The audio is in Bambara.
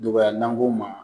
Dɔgɔya n'an k'o ma